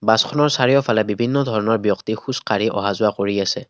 বাছখনৰ চাৰিওফালে বিভিন্ন ধৰণৰ ব্যক্তি খোজকাঢ়ি অহাযোৱা কৰি আছে।